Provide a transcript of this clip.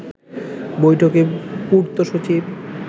বৈঠকে পূর্ত সচিব